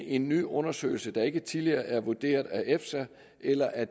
en ny undersøgelse der ikke tidligere er vurderet af efsa eller af